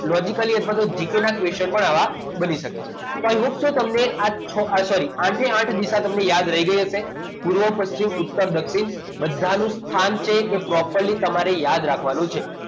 તો logically અથવા તો gk ના question પણ આવા બની શકે છે તો i hope so તમને આ છ sorry આઠે આઠ દિશા તમને યાદ રહી ગઈ હશે પૂર્વ પશ્ચિમ ઉત્તર દક્ષિણ બધાની સ્થાન છે એ properly તમારી યાદ રાખવાનું છે